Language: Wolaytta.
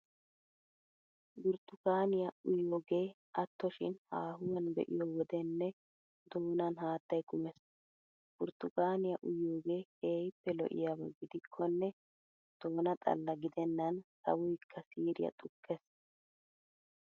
Burttukaaniya uyiyogee atto shin haahuwan be'iyo wodenne doonan haattay kumees. Burttukaaniya uyiyogee keehippe lo'iyaba gidikkonne doona xalla gidennan sawoykka siiriya xukkees.